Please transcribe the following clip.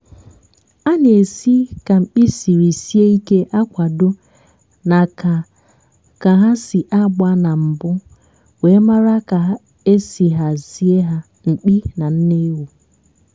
ezigbo ebe obibi na-ebelata ihe mgbakasị ahụ dị n'ịmụ nwa ma na-eme ka umu ewu nwéré ike nwéré ike ịdị ndu.